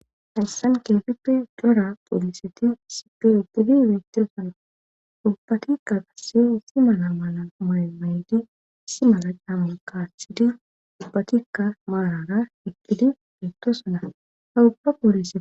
hayssan keefippe dora poolisiti sipe itidi beettiro sana ubbatikka qasse wissi mala mala maymayydi issi maza caammu kaathidi ubbatikka maanara iqkidi meettoosana hawuga poolie